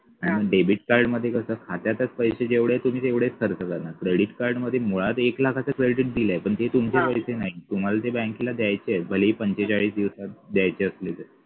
आणि debit card मध्ये कस खात्यातच पैसे जेवढे आहेत तुम्ही तेवढेच पैसे खर्च करणार credit card मध्ये मुळात एक लाखाचं credit दिलय पण ते तुमचे पैसे नाही तुम्हाला ते बँकेला द्यायचे आहेत भलेही पंचेचाळीस दिवसात द्यायचे असले तरी